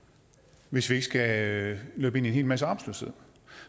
hvis vi ikke skal løbe ind i en hel masse arbejdsløshed